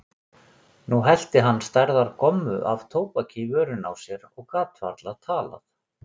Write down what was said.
Nú hellti hann stærðar gommu af tóbaki í vörina á sér og gat varla talað.